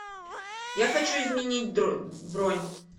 я хочу изменить бронь